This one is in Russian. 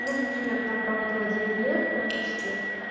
ну в общем я там проработала девять лет практически